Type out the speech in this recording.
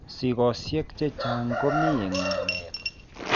Sikoosiek chechaang' komii eng' emet